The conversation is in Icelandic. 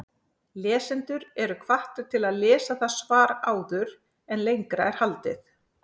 Lesendur eru hvattir til að lesa það svar áður en lengra er haldið.